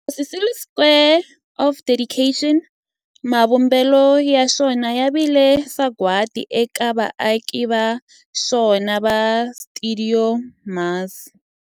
Walter Sisulu Square of Dedication, mavumbelo ya xona ya vile sagwadi eka vaaki va xona va stuidio MAS.